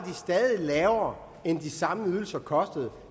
stadig lavere end det de samme ydelser kostede